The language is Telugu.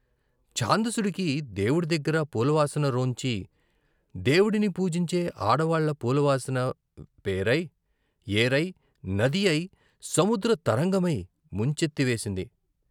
ఛాందసుడికి దేవుడి దగ్గర పూలవాసన రోంచి దేవుడిని పూజించే ఆడవాళ్ళ పూల వాసన వేరై, ఏరై, నదియై, సముద్ర తరంగమై ముంచెత్తి వేసింది....